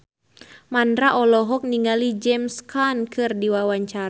Mandra olohok ningali James Caan keur diwawancara